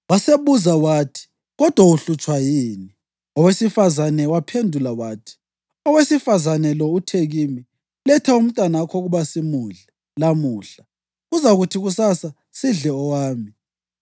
Wasebuza wathi, “Kodwa uhlutshwa yini?” Owesifazane waphendula wathi, “Owesifazane lo uthe kimi, ‘Letha umntanakho ukuba simudle lamuhla, kuzakuthi kusasa sidle owami.’